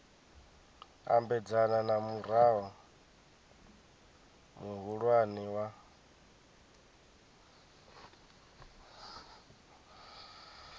ambedzana na murao muhulwane wa